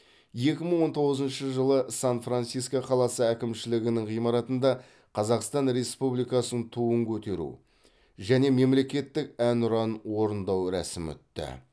екі мың он тоғызыншы жылы сан франциско қаласы әкімшілігінің ғимаратында қазақстан республикасының туын көтеру және мемлекеттік әнұранын орындау рәсімі өтті